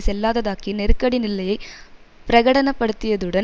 செல்லாததாக்கி நெருக்கடி நிலையை பிரகடனப்படுத்தியதுடன்